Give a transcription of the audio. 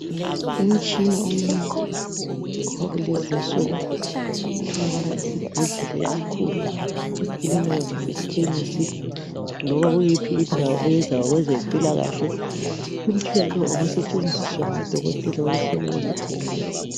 Umtshina omuncinyane owakulezi insuku otholakala esibhedlela esikhulu , ekilinikha kumbe ekhemisi loba yiphi indawo eyenza ngokweZempila kahle . Umtshina lowu ngosentshenziswa ngo Dokotela ukuhlola izigulane